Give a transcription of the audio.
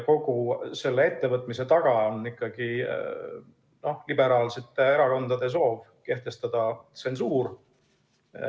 Kogu selle ettevõtmise taga on ikkagi liberaalsete erakondade soov kehtestada tsensuur.